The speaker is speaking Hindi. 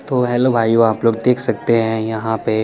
तो हेल्लो भाईयो आप लोग देख सकते है यहा पे--